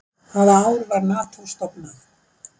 Hvaða ár var Nató stofnað?